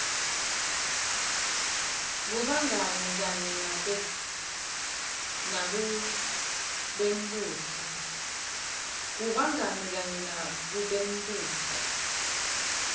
kubangani kanye nakubembutfo